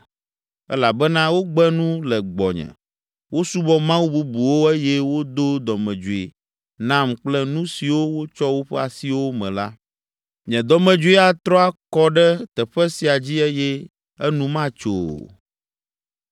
Elabena wogbe nu le gbɔnye, wosubɔ mawu bubuwo eye wodo dɔmedzoe nam kple nu siwo wotsɔ woƒe asiwo me la. Nye dɔmedzoe atrɔ akɔ ɖe teƒe sia dzi eye enu matso o.’